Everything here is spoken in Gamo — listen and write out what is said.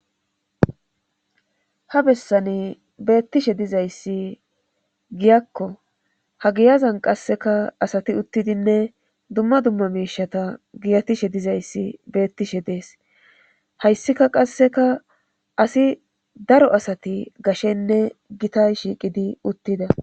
Habessani beettishe dizayssi giyakko hagiyazan qasseka asati uttidinne dumma dumma miishata giyatishe dizayssi beettishe dees hayssika qasseka asi daro asati gashenne gita shiiqidi uttida.